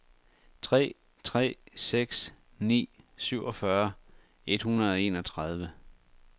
tre tre seks ni syvogfyrre et hundrede og enogtredive